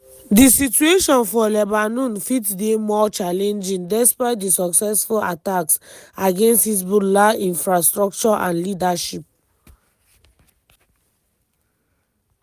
di situation for lebanon fit dey more challenging despite di successful attacks against hezbollah infrastructure and leadership.